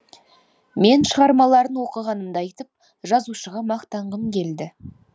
мен шығармаларын оқығанымды айтып жазушыға мақтанғым келді